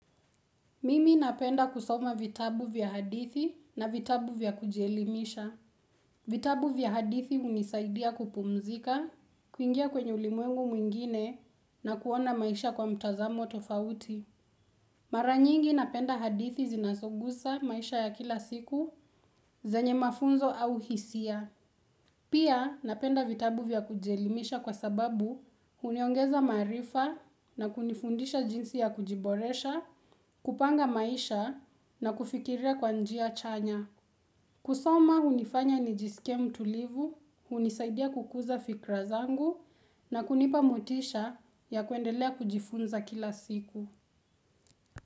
Mimi napenda kusoma vitabu vya hadithi na vitabu vya kujielimisha. Vitabu vya hadithi hunisaidia kupumzika, kuingia kwenye ulimwengu mwingine na kuona maisha kwa mtazamo tofauti. Maranyingi napenda hadithi zinasogusa maisha ya kila siku zenye mafunzo au hisia. Pia napenda vitabu vya kujielimisha kwa sababu huniongeza maarifa na kunifundisha jinsi ya kujiboresha, kupanga maisha na kufikiria kwa njia chanya. Kusoma hunifanya nijiskie mtulivu, hunisaidia kukuza fikra zangu na kunipa motisha ya kuendelea kujifunza kila siku.